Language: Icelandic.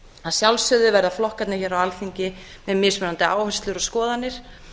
að sjálfsögðu verða flokkarnir hér á alþingi með mismunandi áherslur og skoðanir